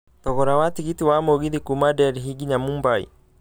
thogora wa tigiti wa mũgithi kuuma Delhi nginya mumbai